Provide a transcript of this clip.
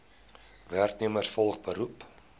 werknemers volgens beroep